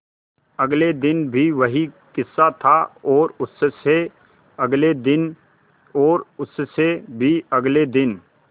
अगले दिन भी वही किस्सा था और उससे अगले दिन और उससे भी अगले दिन